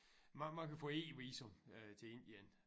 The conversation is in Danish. Man man kan få e-visum øh til Indien